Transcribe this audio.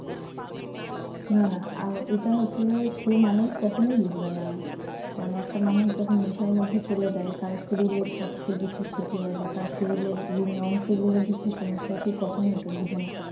না না আর এটা হচ্ছে যে সেই মানুষ কখনোই বুঝবে না মানে একটা মানুষ যখন নেশার মধ্যে চলে যায় তার শরীরের স্বাস্থ্যের যে কি ক্ষতি হয় বা তার শরীরের বিভিন্ন অংশ গুলার যে কি সমস্যা আছে সে কখনোই এট বুঝেনা